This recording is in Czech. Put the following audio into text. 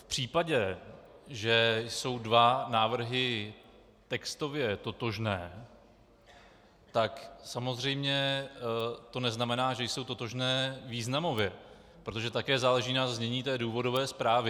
V případě, že jsou dva návrhy textově totožné, tak samozřejmě to neznamená, že jsou totožné významově, protože také záleží na znění té důvodové zprávy.